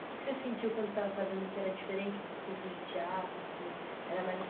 O que que você sentiu quando você estava fazendo, que era diferente dos cursos de teatro, que era mais